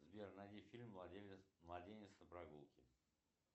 сбер найди фильм младенец на прогулке